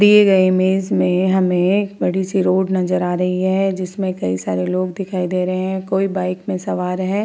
दिए गए इमेज में हमें एक बड़ी सी रोड नज़र आ रही है जिसमें कई सारे लोग दिखाई दे रहे हैं कोई बाइक में सवार हैं।